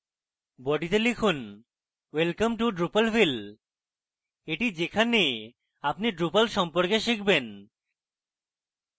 বডিতে লিখুনwelcome to drupalville এটি যেখানে আপনি drupal সম্পর্কে শিখবেন